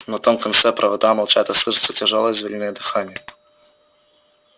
на том конце провода молчат и слышится тяжёлое звериное дыхание